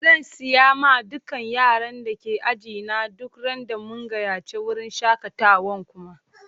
Zan siya ma dukan yaran da ke ajina duk ran da mun gayace wurin shakatawan kuma.